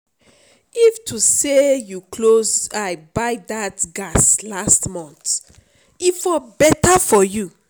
if to say you close eye buy that gas last month e for better for you